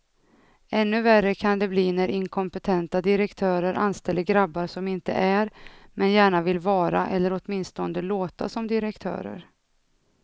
Ännu värre kan det bli när inkompetenta direktörer anställer grabbar som inte är, men gärna vill vara eller åtminstone låta som direktörer.